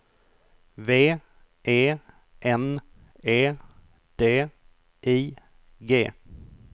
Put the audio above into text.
V E N E D I G